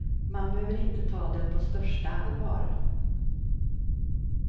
Man behöver inte ta den på största allvar.